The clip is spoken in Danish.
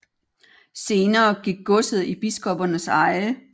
Senere gik godset i biskoppernes eje